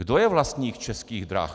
Kdo je vlastník Českých drah?